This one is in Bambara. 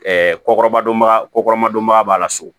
kɔkɔrɔba don baga ko kɔrɔba donba b'a la so